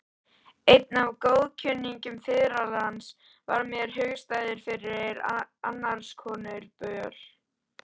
Einn af góðkunningjum fiðlarans varð mér hugstæður fyrir annarskonar böl.